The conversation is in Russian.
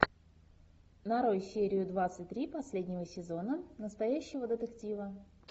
нарой серию двадцать три последнего сезона настоящего детектива